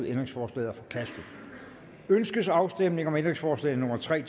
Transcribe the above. ændringsforslaget er forkastet ønskes afstemning om ændringsforslag nummer tre